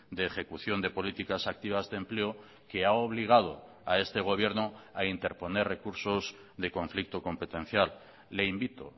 de ejecución de políticas activas de empleo que ha obligado a este gobierno a interponer recursos de conflicto competencial le invito